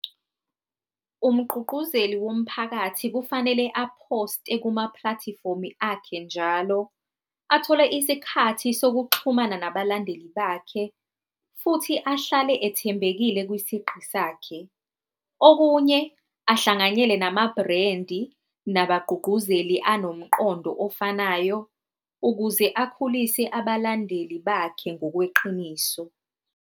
Umgqugquzeli womphakathi kufanele a-post-e kuma-platform-i akhe njalo, athole isikhathi sokuxhumana nabalandeli bakhe, futhi ahlale ethembekile kwisiqu sakhe. Okunye ahlanganyele nama-brand-i nabagqugquzeli anomqondo ofanayo, ukuze akhulise abalandeli bakhe ngokweqiniso.